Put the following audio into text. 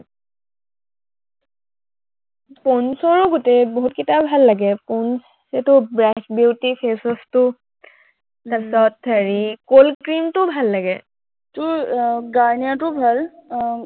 পৌণ্ডচৰো গোটেই, বহুতকেইটা ভাল লাগে, পৌণ্ডচ, এইটো ব্লেক বিউটি face wash টো তাৰপিছত হেৰি cold cream টোও ভাল লাগে। তোৰ আহ গাৰ্ণিয়াৰটোও ভাল, আহ